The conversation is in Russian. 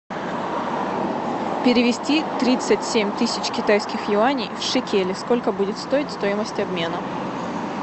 перевести тридцать семь тысяч китайских юаней в шекели сколько будет стоить стоимость обмена